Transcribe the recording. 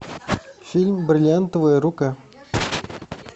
фильм бриллиантовая рука